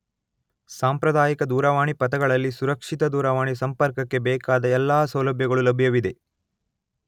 ಸಾಂಪ್ರದಾಯಿಕ ದೂರವಾಣಿ ಪಥಗಳಲ್ಲಿ ಸುರಕ್ಷಿತ ದೂರವಾಣಿ ಸಂಪರ್ಕಕ್ಕೆ ಬೇಕಾದ ಎಲ್ಲಾ ಸೌಲಭ್ಯಗಳು ಲಭ್ಯವಿದೆ